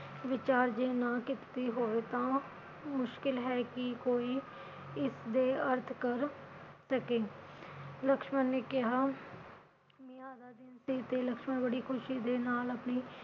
ਵਿਚਾਰ ਜੇ ਨਾ ਕੀਤੀ ਹੋਵੇ ਤਾ ਮੁਸ਼ਕਿਲ ਹੈ ਕਿ ਕੋਈ ਇਸਦੇ ਅਰਥ ਕਰ ਸਕੇ ਲਕਸ਼ਮਨ ਨੇ ਕਿਹਾ ਮਿਆ ਲਕਸ਼ਮਨ ਬੜੀ ਖੁਸ਼ੀ ਦੇ ਨਾਲ ਆਪਣੀ